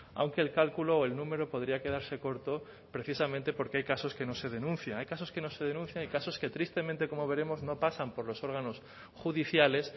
aunque el cálculo o el número podría quedarse corto precisamente porque hay casos que no se denuncian hay casos que no se denuncian y casos que tristemente como veremos no pasan por los órganos judiciales